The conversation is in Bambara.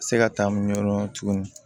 Se ka taa mun yɔrɔ dɔn tuguni